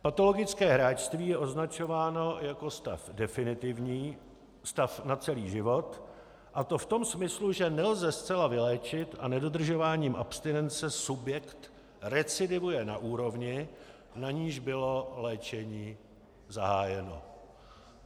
Patologické hráčství je označováno jako stav definitivní, stav na celý život, a to v tom smyslu, že nelze zcela vyléčit, a nedodržováním abstinence subjekt recidivuje na úrovni, na níž bylo léčení zahájeno.